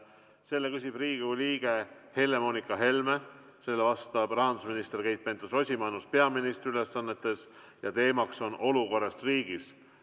Selle küsib Riigikogu liige Helle-Moonika Helme, sellele vastab rahandusminister Keit Pentus-Rosimannus peaministri ülesannetes ja teema on olukorrast riigis.